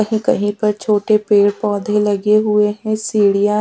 कहि कहि पर छोटे पेड़ पोधे लगे हुए है सीढियां--